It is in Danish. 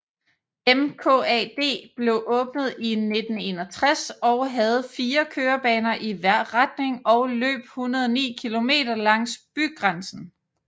MKAD blev åbnet i 1961 og havde fire kørebaner i hver retning og løb 109 km langs bygrænsen